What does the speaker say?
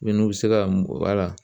n'u bɛ se ka mun bɔ a la